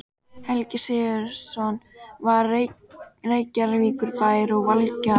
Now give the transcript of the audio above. Helgi Sigurðsson frá Reykjavíkurbæ og Valgarð